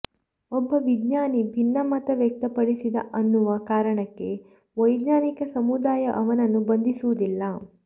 ಒಬ್ಬ ವಿಜ್ಞಾನಿ ಭಿನ್ನಮತ ವ್ಯಕ್ತಪಡಿಸಿದ ಅನ್ನುವ ಕಾರಣಕ್ಕೆ ವೈಜ್ಞಾನಿಕ ಸಮುದಾಯ ಅವನನ್ನು ಬಂಧಿಸುವುದಿಲ್ಲ